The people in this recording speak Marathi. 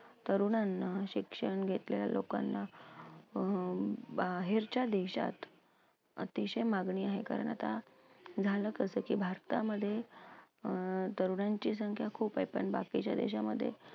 तरुणांना शिक्षण घेतलेल्या लोकांना अं बाहेरच्या देशात अतिशय मागणी आहे कारण आता झालं कसं की भारतामध्ये अं तरुणांची संख्या खूप आहे, पण बाकीच्या देशामध्ये